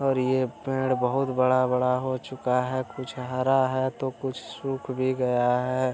और ये पेड़ बहुत बड़ा-बड़ा हो चूका है कुछ हरा है तो कुछ सुख भी गया है।